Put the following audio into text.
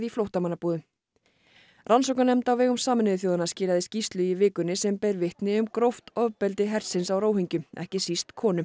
flóttamannabúðum þar rannsóknarnefnd á vegum Sameinuðu þjóðanna skilaði skýrslu í vikunni sem ber vitni um gróft ofbeldi hersins á ekki síst konum